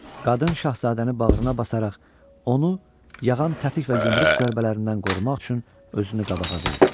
Qadın şahzadəni bağrına basaraq onu yağan təpik və yumruq zərbələrindən qorumaq üçün özünü qabağa verdi.